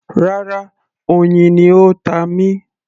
Rárá, oyin ni ó ta mí